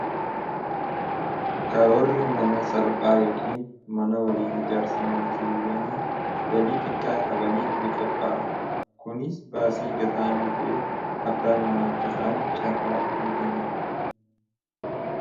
Karoorri mana salphaa yookiin mana waliin ijaarsa maatiiwwanii galii xiqqaa qabaniif ni qophaa'a kunis baasii gaxaanaa ta'ee abbaa mana akkataan caarraa ni bana.